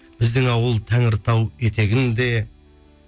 біздің ауыл тәңір тау етегінде